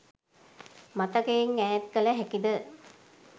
මතකයෙන් ඈත් කළ හැකිද?